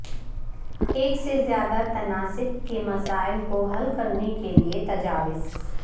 ایک سے زیادہ تناسب کے مسائل کو حل کرنے کے لئے تجاویز